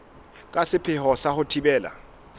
ka sepheo sa ho thibela